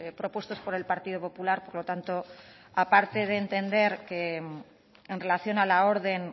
propuestos por el partido popular por lo tanto aparte de entender que en relación a la orden